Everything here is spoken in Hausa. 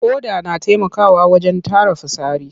Ƙoda na taimakawa wajen tara fitsari.